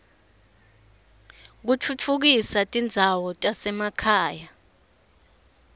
kutfutfukisa tindzawo tasemakhaya